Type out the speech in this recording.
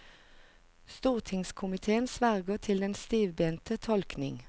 Stortingskomitéen sverger til den stivbente tolkning.